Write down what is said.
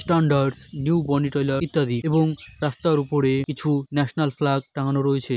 New Boni tailors ইত্যাদি এবং রাস্তার ওপরে কিছু ন্যাশনাল ফ্ল্যাগ টাঙ্গানো রয়েছে।